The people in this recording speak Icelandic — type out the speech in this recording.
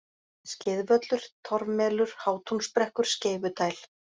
Skeiðvöllur, Torfmelur, Hátúnsbrekkur, Skeifudæl